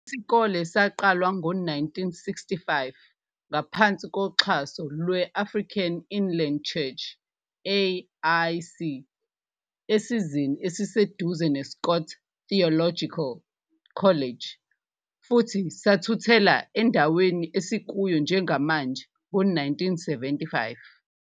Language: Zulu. Isikole saqalwa ngo-1965 ngaphansi koxhaso lwe- Africa Inland Church, AIC, esizeni esiseduze neScott Theological College futhi sathuthela endaweni esikuyo njengamanje ngo-1975.